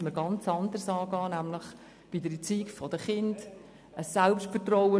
Man müsste das anders angehen und bei der Erziehung der Kinder ansetzten.